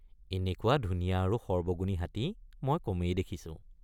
এনেকুৱা ধুনীয়া আৰু সৰ্বগুণী হাতী মই কমেই দেখিছোঁ।